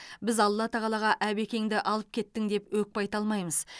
біз алла тағалаға әбекеңді алып кеттің деп өкпе айта алмаймыз